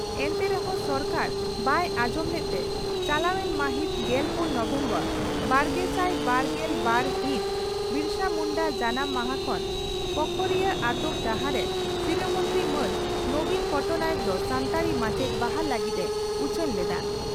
ᱮᱱᱛᱮ ᱨᱮᱦᱚᱸ ᱥᱚᱨᱠᱟᱨ ᱵᱟᱭ ᱟᱸᱡᱚᱢ ᱞᱮᱫᱛᱮ ᱪᱟᱞᱟᱣᱮᱱ ᱢᱟᱹᱦᱤᱛ ᱜᱮᱞᱯᱩᱱ ᱱᱚᱵᱷᱮᱢᱵᱚᱨ ᱵᱟᱨᱜᱮᱥᱟᱭ ᱵᱥᱨᱜᱮᱞ ᱵᱟᱨ ᱦᱤᱛ ᱵᱤᱨᱥᱟᱹ ᱢᱩᱱᱰᱟᱹ ᱡᱟᱱᱟᱢ ᱢᱟᱦᱟ ᱠᱷᱚᱱ ᱯᱚᱠᱷᱳᱨᱤᱭᱟᱹ ᱟᱹᱛᱩ ᱡᱟᱦᱟᱸᱨᱮ ᱥᱤᱨᱟᱹ ᱢᱚᱱᱛᱨᱤ ᱢᱟᱱ ᱱᱚᱵᱤᱱ ᱯᱚᱴᱱᱟᱭᱮᱠ ᱫᱚ ᱥᱟᱱᱛᱟᱲᱤ ᱢᱟᱪᱮᱛ ᱵᱟᱦᱟᱞ ᱞᱟᱹᱜᱤᱫ ᱮ ᱩᱪᱷᱟᱹᱱ ᱞᱮᱫᱼᱟ